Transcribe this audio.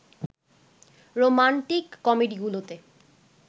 romantic কমেডিগুলোতে